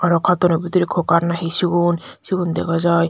aro katono bidire kokar na hi sigun sigun dega jai.